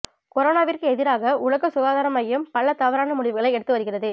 கொரோனாவிற்கு எதிராக உலக சுகாதார மையம் பல தவறான முடிவுகளை எடுத்து வருகிறது